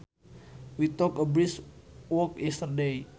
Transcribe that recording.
We took a brisk walk yesterday